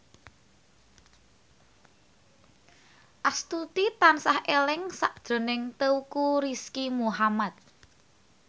Astuti tansah eling sakjroning Teuku Rizky Muhammad